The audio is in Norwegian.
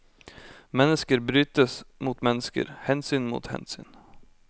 Mennesker brytes mot mennesker, hensyn mot hensyn.